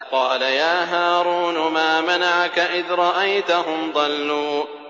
قَالَ يَا هَارُونُ مَا مَنَعَكَ إِذْ رَأَيْتَهُمْ ضَلُّوا